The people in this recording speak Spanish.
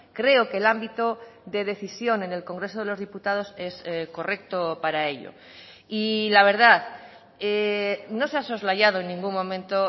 creo que el ámbito de decisión en el congreso de los diputados es correcto para ello y la verdad no se ha soslayado en ningún momento